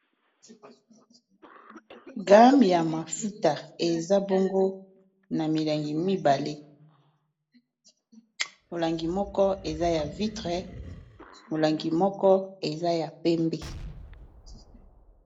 game ya mafuta eza bongo na milangi mibale molangi moko eza ya vitre molangi moko eza ya pembe